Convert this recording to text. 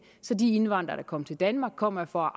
så de indvandrere der kom til danmark kom her for